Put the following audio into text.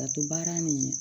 Laturu baara ni